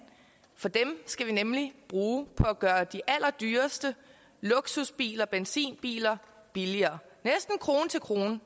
for dem skal vi nemlig bruge på at gøre de allerdyreste luksusbiler benzinbiler billigere næsten krone til krone